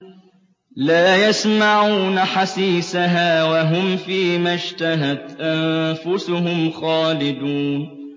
لَا يَسْمَعُونَ حَسِيسَهَا ۖ وَهُمْ فِي مَا اشْتَهَتْ أَنفُسُهُمْ خَالِدُونَ